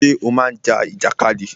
Ṣé o má ń ja ìjàkadì?